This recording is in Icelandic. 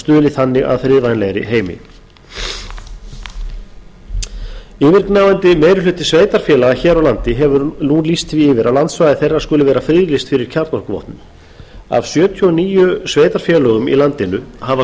stuðli þannig að friðvænlegri heimi yfirgnæfandi meiri hluti sveitarfélaga hér á landi hefur nú lýst því yfir að landsvæði þeirra skuli vera friðlýst fyrir kjarnorkuvopnum af sjötíu og níu sveitarfélögum í landinu hafa